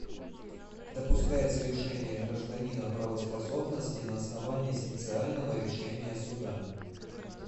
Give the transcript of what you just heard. допускается лишение гражданина правоспособности на основании специального решения суда